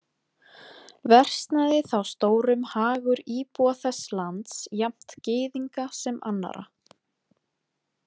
Versnaði þá stórum hagur íbúa þess lands, jafnt Gyðinga sem annarra.